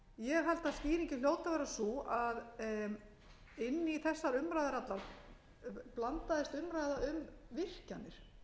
er sko algjörlega fráleit umræða ég held að skýringin hljóti að vera sú að inn í þessar umræður allar blandaðist umræða um virkjanir